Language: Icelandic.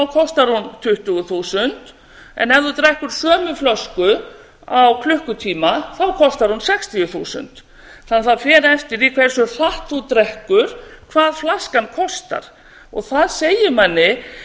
kostar hún tuttugu þúsund en ef þú drekkur sömu flösku á klukkutíma kostar hún sextíu þúsund þannig að það fer eftir því hversu hratt þú drekkur hvað flaskan kostar og það segir manni